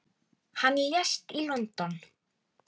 Hann lést í London.